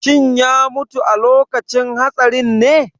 Shin ya mutu a lokacin hatsarinne?